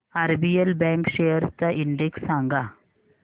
RBL bank shares चा index सांगा